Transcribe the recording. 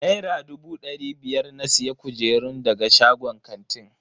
Naira dubu dari biyar na siya kujerun daga shagon kantin.